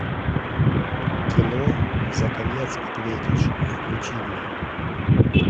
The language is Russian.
кино за конец ответишь включи мне